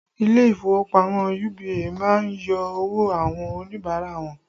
Ilé ìfowópamọ́ UBA má ń yọ owó àwọn Oníbàárà wọn